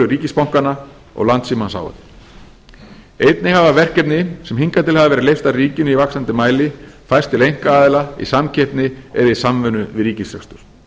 ríkisbankanna og landssímans h f einnig hafa verkefni sem hingað til hafa verið leyst af ríkinu í vaxandi mæli færst til einkaaðila í samkeppni eða í samvinnu við ríkisrekstur